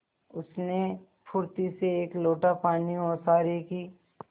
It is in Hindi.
उसने फुर्ती से एक लोटा पानी ओसारे की